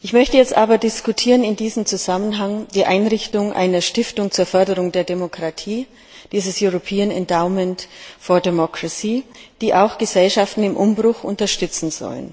Ich möchte jetzt aber in diesem Zusammenhang die Einrichtung einer Stiftung zur Förderung der Demokratie diskutieren, dieses European Endowment for Democracy die auch Gesellschaften im Umbruch unterstützen soll.